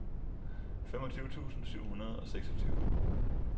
femogtyve tusind syv hundrede og seksogtyve